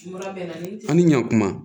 An ni ɲankuma